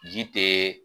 Ji te